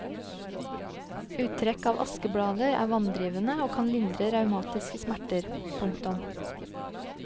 Uttrekk av askeblader er vanndrivende og kan lindre reumatiske smerter. punktum